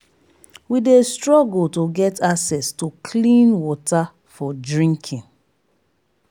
we dey struggle to get access to clean water for drinking